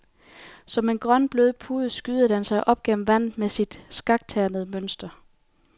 Som en grøn, blød pude skyder den sig op gennem vandet med sit skakternede mønster.